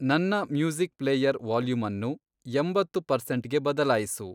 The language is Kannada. ನನ್ನ ಮ್ಯೂಸಿಕ್ ಪ್ಲೇಯರ್ ವಾಲ್ಯೂಮ್ ಅನ್ನು ಎಂಬತ್ತು ಪರ್ಸೆಂಟ್‌ಗೆ ಬದಲಾಯಿಸು